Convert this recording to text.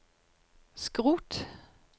skrot